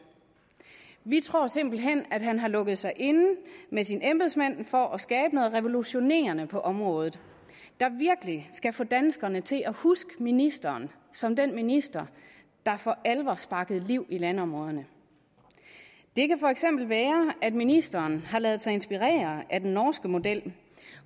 vi tror simpelt hen at han har lukket sig inde med sine embedsmænd for at skabe noget mere revolutionerende på området der virkelig skal få danskerne til at huske ministeren som den minister der for alvor sparkede liv i landområderne det kan for eksempel være at ministeren har ladet sig inspirere af den norske model